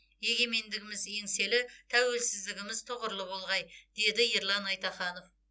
егемендігіміз еңселі тәуелсіздігіміз тұғырлы болғай деді ерлан айтаханов